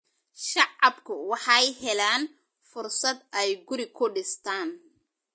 Shacabku waxay helaan fursad ay guri ku dhistaan.